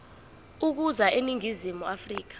ukuza eningizimu afrika